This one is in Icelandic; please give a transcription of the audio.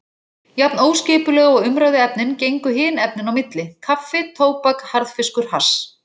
Jafn óskipulega og umræðuefnin gengu hin efnin á milli: kaffi tóbak harðfiskur hass.